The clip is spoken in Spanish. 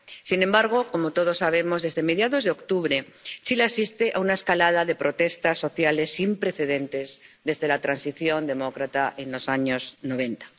Sin embargo —como todos sabemos—, desde mediados de octubre Chile asiste a una escalada de protestas sociales sin precedentes desde la transición democrática de los años noventa.